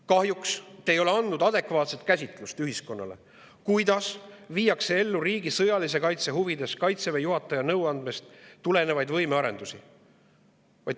Kahjuks te ei ole andnud ühiskonnale adekvaatset käsitlust, kuidas viiakse riigi sõjalise kaitse huvides ellu Kaitseväe juhataja nõuandest tulenevat võimearendust.